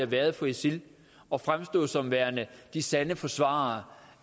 været for isil at fremstå som værende de sande forsvarere